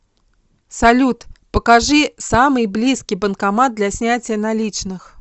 салют покажи самый близкий банкомат для снятия наличных